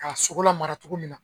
K'a sogo lamara cogo min na.